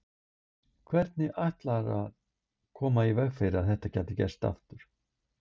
Hvernig ætla þeir að koma í veg fyrir að þetta geti gerst aftur?